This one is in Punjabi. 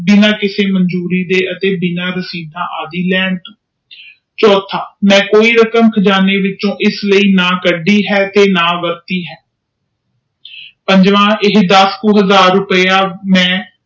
ਬਿਨਾ ਕਿਸੇ ਮਜੂਰੀ ਦੇ ਬਿਨਾ ਕਿਸੇ ਆਦਿ ਲੈਣ ਤੋਂ ਚੋਥਾ ਮੈਂ ਕੋਈ ਰਕਮ ਕਿਸੇ ਚੋ ਨਾ ਕਸਦੀ ਆ ਨਾ ਵਰਤੀ ਆ ਪੰਜਵਾਂ ਇਹ ਦਸ ਕ ਹਜ਼ਾਰੇ ਰੂਪੀ ਮੈਂ